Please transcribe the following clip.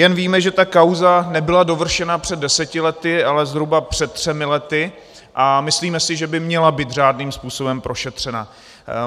Jen víme, že ta kauza nebyla dovršena před deseti lety, ale zhruba před třemi lety, a myslíme si, že by měla být řádným způsobem prošetřena.